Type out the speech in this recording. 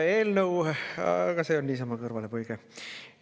Aga see oli niisama kõrvalepõige.